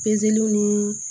Pezeliw ni